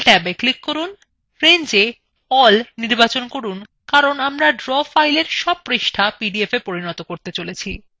rangewe all নির্বাচন করুন কারণ আমর draw file সব পৃষ্ঠা পিডিএফwe পরিনত করছি